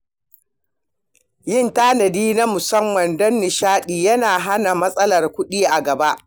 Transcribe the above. Yin tanadi na musamman don nishaɗi yana hana matsalar kuɗi a gaba.